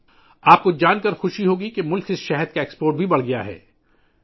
آپ کو یہ جان کر خوشی ہوگی کہ ملک سے شہد کی برآمد میں بھی اضافہ ہوا ہے